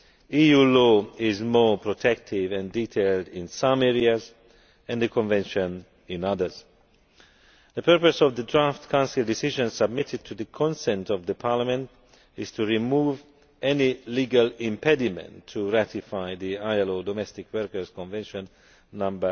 EU law is more protective and detailed in some areas and the Convention in others. The purpose of the draft Council decision submitted to the consent of Parliament is to remove any legal impediment to ratifying the ILO Domestic Workers Convention No